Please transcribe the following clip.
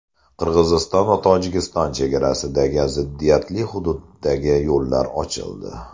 Qirg‘iziston va Tojikiston chegarasidagi ziddiyatli hududdagi yo‘llar ochildi.